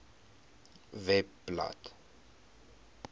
webblad